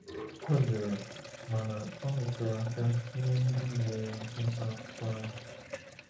Ọ jụrụ, mana o rụtụrụ aka nye ndị nyere ya mpempe akwụkwọ ahụ.